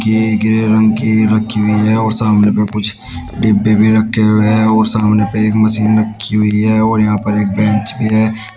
ये ग्रे रंग की रखी हुई है और सामने पे कुछ डिब्बे भी रखे हुए हैं और सामने पे एक मशीन रखी हुई है और यहां पर एक बेंच भी है।